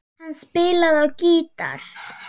Hann spilaði á gítar.